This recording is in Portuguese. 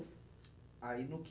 Aí no